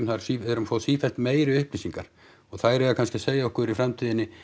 við erum að fá sífellt meiri upplýsingar og þær eiga kannski að segja okkur í framtíðinni